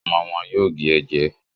Ọmọ Wón yóò gé e jẹ.